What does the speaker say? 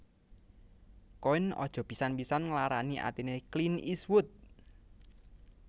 Koen aja pisan pisan nglarani atine Clint Eastwood